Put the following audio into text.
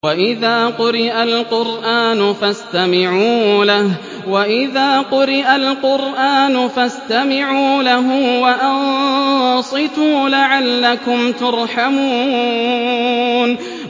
وَإِذَا قُرِئَ الْقُرْآنُ فَاسْتَمِعُوا لَهُ وَأَنصِتُوا لَعَلَّكُمْ تُرْحَمُونَ